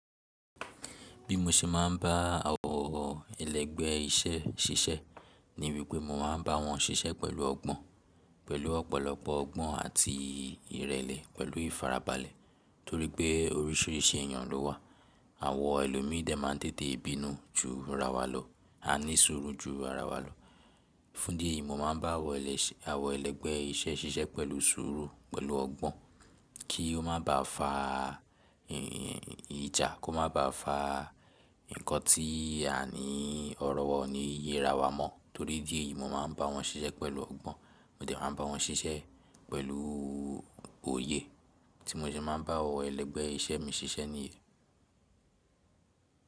Bí mo ṣe máa ń bá àwọn ẹlẹ́gbẹ́ iṣẹ́ ṣiṣẹ́ ni wípé mo máa ń bá wọn ṣiṣẹ́ pẹ̀lú ọgbọ́n, pẹ̀lú ọ̀pọ̀lọpọ̀ ọgbọ́n àti ìrẹ̀lẹ̀ pẹ̀lú ìfarabalẹ̀ torí pé oríṣìíríṣìí èyàn ló wà. Àwọn ẹlòmíìdà máa ń tètè bínú ju ira wa lọ, á ní sùúrù ju ara wa lọ. Fún dí ẹ̀yìí mo máa ń bá àwọn ẹlẹ́gbẹ́ iṣẹ́ ṣiṣẹ́ pẹ̀lú sùúrù, pẹ̀lú ọgbọ́n kí ó má bá fa ìjà, kó má bá fa nǹkan tí à ní ọ̀rọ̀ wọ̀ ní yé ara wa mọ́ torí idí ẹ̀yìí mo máa ń bá wọn ṣiṣẹ́ pẹ̀lú ọgbọ́n, mo dẹ̀ máa ń bá wọn ṣiṣẹ́ pẹ̀lú òye. Tí mo ṣe máa ń bá àwọn ẹlẹ́gbẹ́ iṣẹ́ mi ṣiṣẹ́ nìyẹn.